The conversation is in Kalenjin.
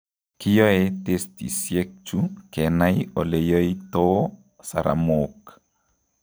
Kiyoe testisiek chu kenai eleyoitoo saramook